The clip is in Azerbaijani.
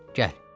Gəl.